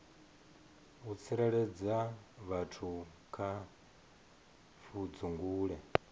u tsireledza vhathu kha pfudzungule